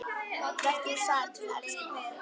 Vertu sæll, elsku pabbi.